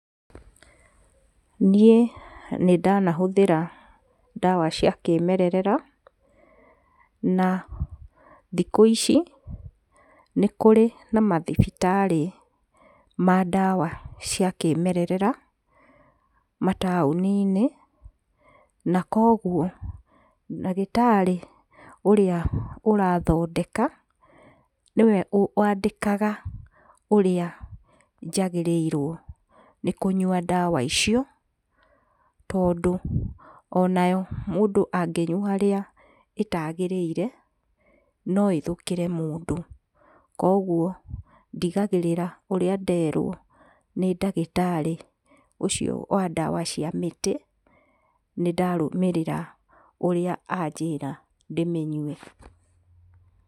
Niĩ nĩndanahũthĩra ndawa cia kĩmerera, na thikũ ici nĩkũrĩ na mathibitarĩ ma ndawa cia kĩmererera mataũni-inĩ, na kwoguo ndagĩtarĩ ũrĩa ũrathondeka, nĩwe wandĩkaga ũrĩa njagĩrĩirwo nĩ kũnyua ndawa icio, tondũ onayo mũndũ angĩnyua ũrĩa ĩtagĩrĩire no ĩthũkĩre mũndũ kwoguo ndigagĩrĩra ũrĩa nderwo nĩ ndagĩtarĩ ũcio wa ndawa cia mĩtĩ, nĩndarũmĩrĩra ũrĩa anjĩra ndĩmĩnyue.